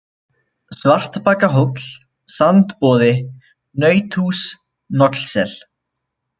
Svartbakahóll, Sandboði, Nauthús, Nollsel